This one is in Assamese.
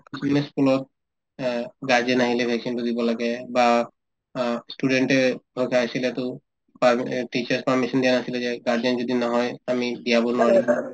ই school ত অ guardian আহিলে vaccine তো দিব লাগে বা অ ই student য়ে guardian যদি নহয় আমি দিয়াব নোৱৰো